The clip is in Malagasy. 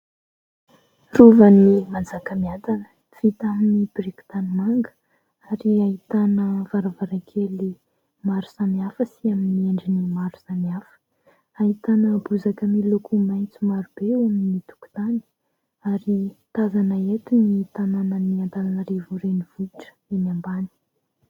Rovan'i Manjakamiadana, vita amin'ny biriky tanimanga, ary ahitana varavarankely maro samihafa sy amin'ny endriny maro samihafa. Ahitana bozaka miloko maitso maro be eo amin'ny tokontany ary tazana eto ny tanànan'Antananarivo Renivohitra eny ambany.